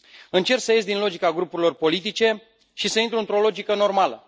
Încerc să ies din logica grupurilor politice și să intru într o logică normală.